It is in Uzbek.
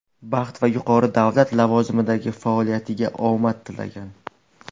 baxt va yuqori davlat lavozimidagi faoliyatida omad tilagan.